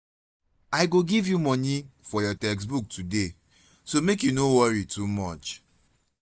i go give you money for your textbook today so make you no worry too much